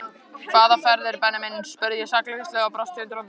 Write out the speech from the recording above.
Hvaða ferðir Benni minn? spurði ég sakleysislega og brosti undrandi.